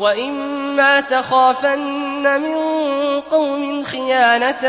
وَإِمَّا تَخَافَنَّ مِن قَوْمٍ خِيَانَةً